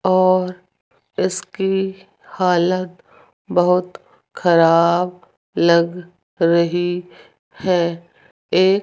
और इसकी हालत बहुत खराब लग रही है एक --